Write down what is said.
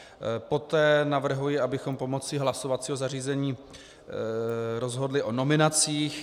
Poté navrhuji, abychom pomocí hlasovacího zařízení rozhodli o nominacích.